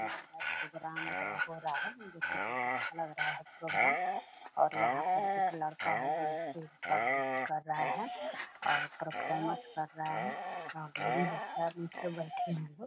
लग रहा है प्रोग्राम वगरा हो रहा है जो की बहुत अच्छा लग रहा है प्रोग्राम और यहाँ पर एक लड़का है जो स्टेज पर नृत्य कर रहा है अअ परफॉरमेंस कर रहा है अ ढेरी बच्चा बीच में बैठे है सब।